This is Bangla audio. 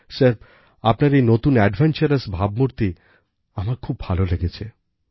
স্যার আপনার এই নতুন অ্যাডভেঞ্চারাস ভাবমূর্তি আমার খুব ভালো লেগেছে